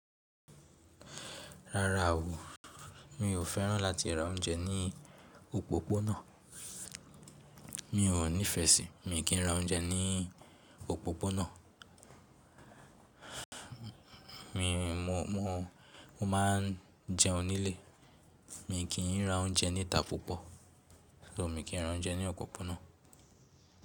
Rárá o mi ò fẹ́ràn láti ra oúnjẹ ní òpópónà. Mi ò nífẹ̀ẹ́ sí, mi kì í ra oúnjẹ ní òpópónà. Mo máa ń jẹun nílé, mi kì n ra oúnjẹ níta púpọ̀. So, mi kì í ra oúnjẹ ní òpópónà.